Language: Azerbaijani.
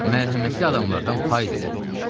Mərhəmətli adamlardan pay dilə.